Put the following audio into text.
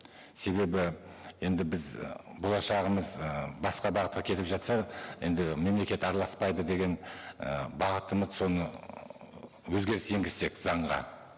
себебі енді біз ы болашағымыз ы басқа бағытқа кетіп жатса енді мемлекет араласпайды деген і бағытымыз оны өзгеріс енгізсек заңға